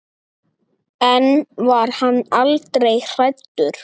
En var hann aldrei hræddur?